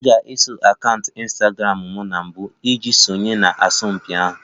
Ị ga-eso akaụntụ Ịnstagramụ m na mbụ iji sonye na asọmpi ahụ